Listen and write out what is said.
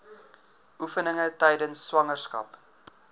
oefeninge tydens swangerskap